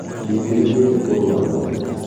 Ndĩtigĩrĩte kũruara